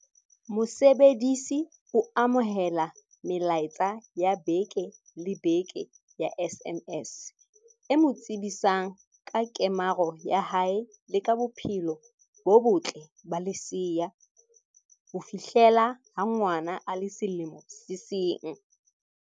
Mosebedisi o amohela melaetsa ya beke le beke ya SMS, e mo tsebisang ka kemaro ya hae le ka bophelo bo botle ba lesea, ho fihlela ha ngwana a le selemo se seng.